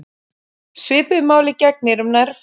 Svipuðu máli gegnir um nærföt.